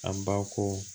An ba ko